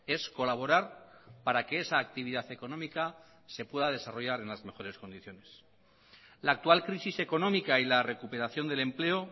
es colaborar para que esa actividad económica se pueda desarrollar en las mejores condiciones la actual crisis económica y la recuperación del empleo